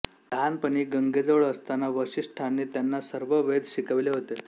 लहानपणी गंगेजवळ असताना वसिष्ठांनी त्यांना सर्व वेद शिकविले होते